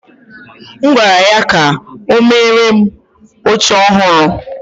M gwara ya ka o meere m oche ọhụrụ